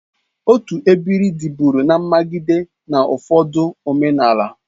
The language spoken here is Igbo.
Otu ebiri dị bụrụ na mmagide n'ụfọdụ omenala.